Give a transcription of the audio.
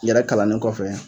Yɛrɛ kalannen kɔfɛ